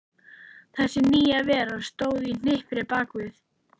Þessi nýja vera stóð í hnipri bakvið